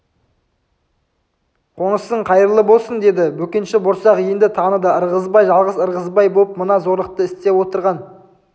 қонысың қайырлы болсын деді бөкенші борсақ енді таныды ырғызбай жалғыз ырғызбай боп мына зорлықты істеп отырған